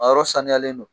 A yɔrɔ saniyalen don